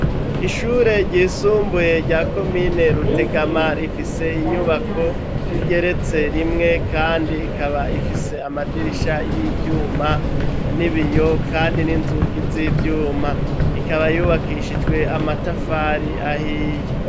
Ishure ryisumbuye rya komine rutegama, ifise inyubako igeretse rimwe, kandi ikaba ifise amadirisha y'ivyuma, n'ibiyo kandi n'inzugi z'ivyuma, ikaba yubakishijwe amatafari ahiye.